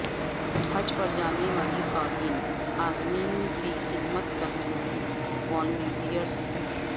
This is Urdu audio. حج پر جانے والی خواتین عازمین کی خدمت کرنیوالی والنٹیئرز